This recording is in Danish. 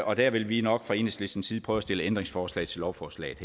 og der vil vi nok fra enhedslistens side prøve at stille ændringsforslag til lovforslaget